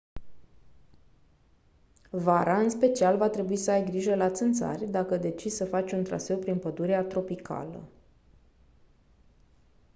vara în special va trebui să ai grijă la țânțari dacă decizi să faci un traseu prin pădurea tropicală